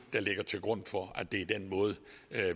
ligger til grund for at det er den måde